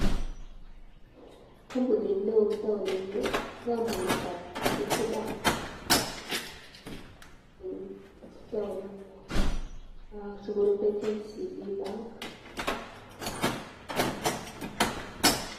Kambunit neon en taonit Ni ko kambunit ab Equity bank en taoni ninyon sikorube Kenya central bank